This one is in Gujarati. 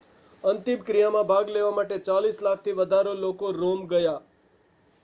અંતિમક્રિયામાં ભાગ લેવા માટે ચાલીસ લાખથી વધારે લોકો રોમ ગયાં